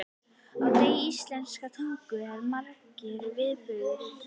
Á degi íslenskrar tungu eru margir viðburðir.